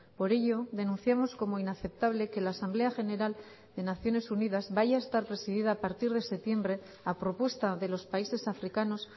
por ello denunciamos como inaceptable que la asamblea general de naciones unidas vaya a estar presidida a partir de septiembre a propuesta de los países africanos